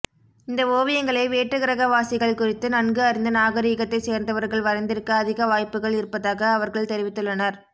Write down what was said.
இந்த ஓவியங்களை வேற்றுகிரகவாசிகள் குறித்து நன்கு அறிந்த நாகரீகத்தைச் சேர்ந்தவர்கள் வரைந்திருக்க அதிக வாய்ப்புகள் இருப்பதாக அவர்கள் தெரிவித்துள்ளனர்